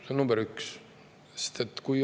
See on number üks.